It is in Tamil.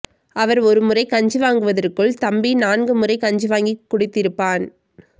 அவர் ஒருமுறை கஞ்சி வாங்குவதற்குள் தம்பி நான்கு முறை கஞ்சி வாங்கி குடித்திருப்பான்